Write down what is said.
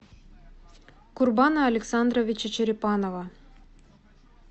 курбана александровича черепанова